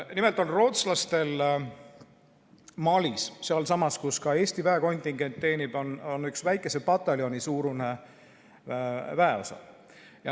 Nimelt on rootslastel Malis, sealsamas, kus ka Eesti väekontingent teenib, väikese pataljoni suurune väeosa.